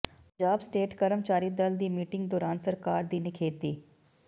Punjab state ਕਰਮਚਾਰੀ ਦਲ ਦੀ ਮੀਟਿੰਗ ਦੌਰਾਨ ਸਰਕਾਰ ਦੀ ਨਿਖੇਧੀ